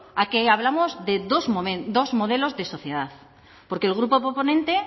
aquí hablamos de dos modelos de sociedad porque